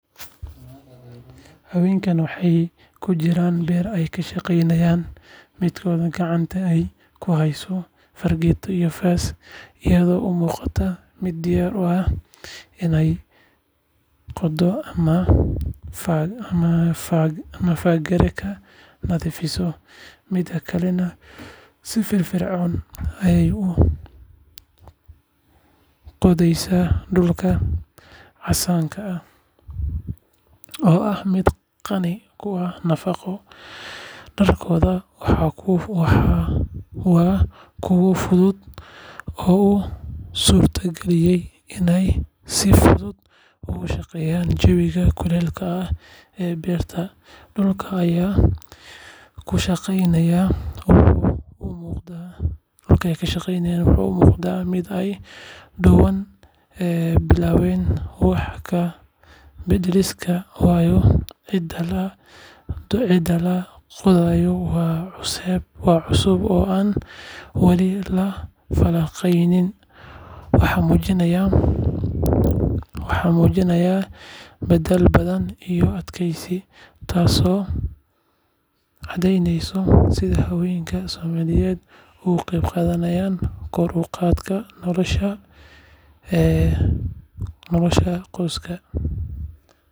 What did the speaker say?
Haweenkan waxay ku jiraan beer ay ka shaqaynayaan, midkood gacanta ayay ku haysaa fargeeto iyo faas, iyadoo u muuqata mid diyaar u ah inay qodo ama fagaare ka nadiifiso. Midda kalena si firfircoon ayay u qodayaan dhulka casaanka ah, oo ah mid qani ku ah nafaqo. Dharkooda waa kuwo fudud oo u suurtagelinaya inay si fudud ugu shaqeeyaan jawiga kuleylka ah ee beerta. Dhulka ay ku shaqaynayaan wuxuu u muuqdaa mid ay dhowaan bilaabeen wax ka beddelkiisa, waayo ciidda la qodayo waa cusub oo aan wali la falanqayn. Waxay muujinayaan dadaal badan iyo adkeysi, taasoo caddeyneysa sida haweenka Soomaaliyeed uga qeyb qaataan kor u qaadista nolosha qoyskooda.